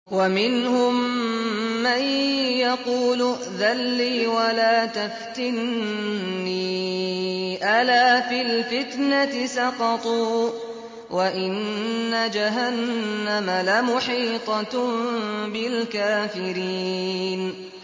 وَمِنْهُم مَّن يَقُولُ ائْذَن لِّي وَلَا تَفْتِنِّي ۚ أَلَا فِي الْفِتْنَةِ سَقَطُوا ۗ وَإِنَّ جَهَنَّمَ لَمُحِيطَةٌ بِالْكَافِرِينَ